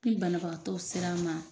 Ni banabagatɔ sera n ma